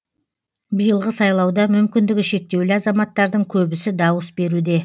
биылғы сайлауда мүмкіндігі шектеулі азаматтардың көбісі дауыс беруде